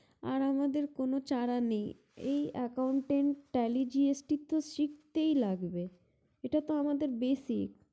আর আমাদের কোনো চারা নেই এই accountant telly gst তো শিখতেই লাগবে এটা তো আমাদের basic